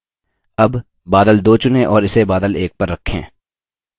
अब बादल 2 चुनें और इसे बादल 1 पर रखें